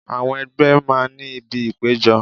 Àwọn ẹgbẹ́ máa ń ní ibi ìpéjọ.